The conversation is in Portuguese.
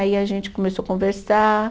Aí a gente começou conversar